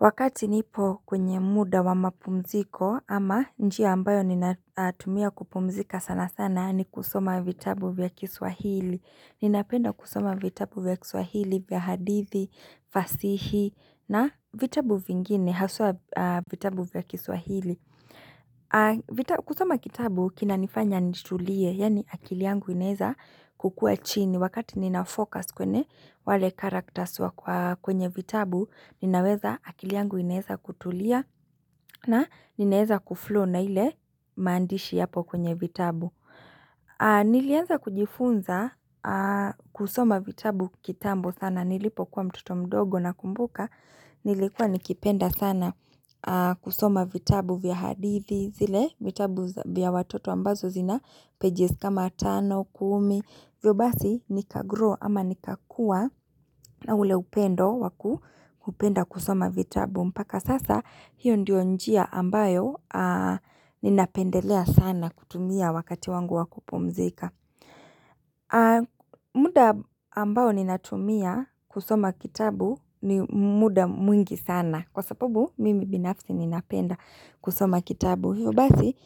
Wakati nipo kwenye muda wa mapumziko ama njia ambayo ninatumia kupumzika sana sana ni kusoma vitabu vya kiswahili. Ninapenda kusoma vitabu vya kiswahili vya hadithi, fasihi na vitabu vingine, haswa vitabu vya kiswahili. Kusoma kitabu kinanifanya nitulie, yani akili yangu inezakukua chini. Ni wakati ninafocus kwene wale karaktas wa kwenye vitabu, ninaweza akili yangu inaeza kutulia na inaeza kuflow na ile maandishi yapo kwenye vitabu. Nilianza kujifunza kusoma vitabu kitambo sana. Nilipokuwa mtoto mdogo nakumbuka, nilikuwa nikipenda sana kusoma vitabu vya hadithi, zile vitabu vya watoto ambazo zina pages kama tano, kumi. Vyo basi nika grow ama nika kuwa na ule upendo waku upenda kusoma vitabu mpaka sasa hiyo ndio njia ambayo ninapendelea sana kutumia wakati wangu wa kupumzika. Muda ambao ninatumia kusoma kitabu ni muda mwingi sana kwa sababu mimi binafsi ninapenda kusoma kitabu. Hivyo basi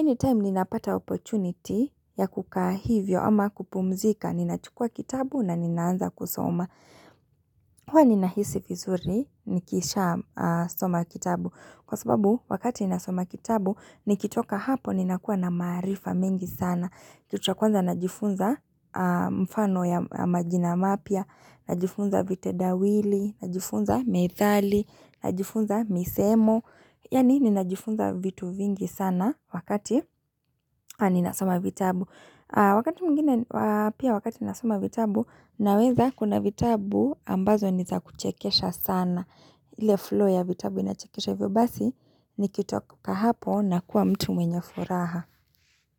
anytime ninapata oportunity ya kukaa hivyo ama kupumzika Ninachukua kitabu na ninaanza kusoma Huwa ninahisi vizuri nikisha soma kitabu Kwa sababu wakati nasoma kitabu nikitoka hapo ninakuwa na maarifa mengi sana Kitu ya kwanza najifunza mfano ya majina mapya Najifunza vitedawili, najifunza methali, najifunza misemo Yani ninajifunza vitu vingi sana wakati ninasoma vitabu. Wakati mwingine, pia wakati ninasoma vitabu, naweza kuna vitabu ambazo niza kuchekesha sana. Ile flow ya vitabu inachekesha hivyo basi, nikitoka hapo na kuwa mtu mwenye furaha.